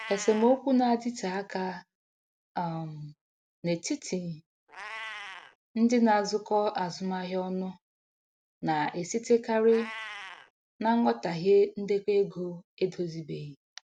Esemokwu na-adịte aka um n'etiti ndị na-azụkọ azụmahịa ọnụ na-esitekarị na nghọtahie ndekọ ego edozibeghị.